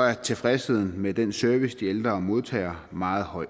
er tilfredsheden med den service de ældre modtager meget høj